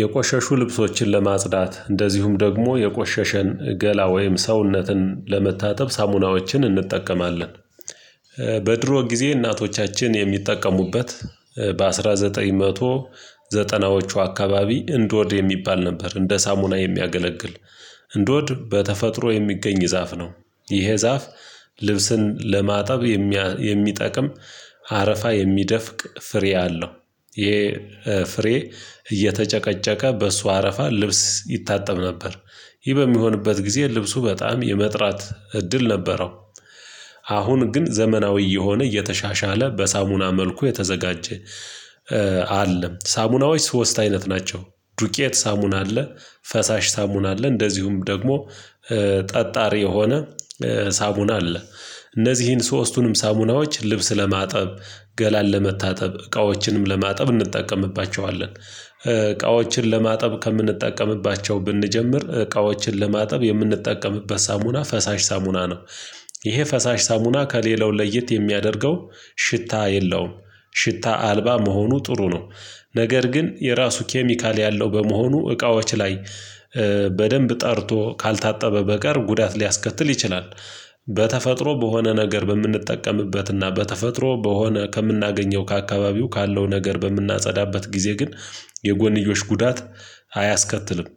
የቆሸሹ ልብሶችን ለማጽዳት እንደዚሁም ደግሞ የቆሸሸን ገላ ወይም ሰውነትን ለመታጠብ ሳሙናዎችን እንጠቀማለን። በድሮ ጊዜ እናቶቻችን የሚጠቀሙበት በአስራ ዘጠኝ መቶ ዘጠናዎቹ አካባቢ እንዶድ የሚባል ነበር እንደ ሳሙና የሚያገለግል። እንዶድ በተፈጥሮ የሚገኝ ዛፍ ነው። ይሄ ዛፍ ልብስን ለማጠብ የሚጠቅም አረፋ የሚደፍቅ ፍሬ አለው። ይሄ ፍሬ እየተጨቀጨቀ በእሱ አረፋ ልብስ ይታጠብ ነበር። ይህ በሚሆንበት ጊዜ ልብሱ በጣም የመጥራት እድል ነበረው። አሁን ግን ዘመናዊ እየሆነ እየተሻሻለ በሳሙና መልኩ የተዘጋጀ። አለ ሳሙናዎች ሶስት አይነት ናቸው። ዱቄት ሳሙና አለ ፈሳሽ ሳሙና አለ እንደዚሁም ደግሞ ጠጣሪ የሆነ ሳሙና አለ። እነዚህን ሶስቱንም ሳሙናዎች ልብስ ለማጠብ ገላል ለመታጠብ እቃዎችንም ለማጠብ እንጠቀምባቸዋለን። እቃዎችን ለማጠብ ከምንጠቀምባቸው ብንጀምር እቃዎችን ለማጠብ የምንጠቀምበት ሳሙና ፈሳሽ ሳሙና ነው። ይሄ ፈሳሽ ሳሙና ከሌላው ለየት የሚያደርገው ሽታ የለውም ሽታ አልባ መሆኑ ጥሩ ነው። ነገር ግን የራሱ ኬሚካል ያለው በመሆኑ እቃዎች ላይ በደንብ ጠርቶ ካልታጠበ በቀር ጉዳት ሊያስከትል ይችላል። በተፈጥሮ በሆነ ነገር በምንጠቀምበትና በተፈጥሮ በሆነ ከምናገኘው ከአካባቢው ካለው ነገር በምናጸዳበት ጊዜ ግን የጎንዮሽ ጉዳት አያስከትልም።